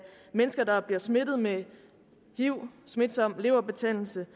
mennesker der bliver smittet med hiv smitsom leverbetændelse